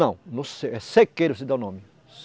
Não, no é sequeiro, que se dá o nome.